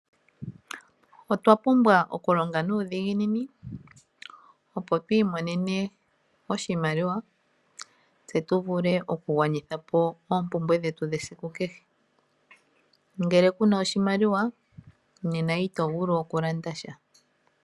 Otwa pumbwa okulonga nuudhiginini, opo tu imonene oshimaliwa tse tu vule okugwanitha po oompumbwe dhetu dhesiku kehe. Ngele ku na oshimaliwa nena ito vulu okulanda sha.